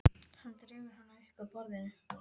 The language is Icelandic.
Hann dregur hana upp að borðinu.